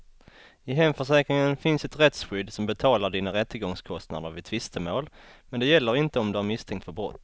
I hemförsäkringen finns ett rättsskydd som betalar dina rättegångskostnader vid tvistemål, men det gäller inte om du är misstänkt för brott.